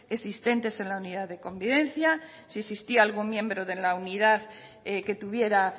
existentes en la unidad de convivencia si existía algún miembro en la unidad que tuviera